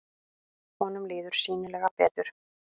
Honum líður sýnilega betur.